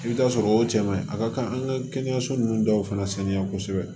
I bɛ taa sɔrɔ o cɛ man ɲi a ka kan an ka kɛnɛyaso ninnu dɔw fana sanuya kosɛbɛ